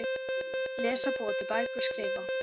Lesa- búa til bækur- skrifa